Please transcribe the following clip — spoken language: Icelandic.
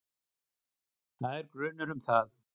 Það er grunur um það.